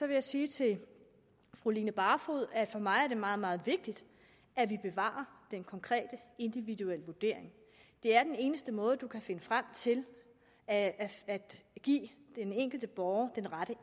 jeg sige til fru line barfod at for mig er det meget meget vigtigt at vi bevarer den konkrete individuelle vurdering det er den eneste måde hvorpå man kan finde frem til at give den enkelte borger den rette